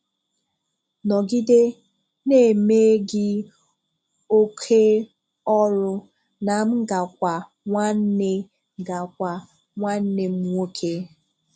Nọgide na-eme gị oké ọrụ na m ga-kwa nwanne ga-kwa nwanne m nwókè!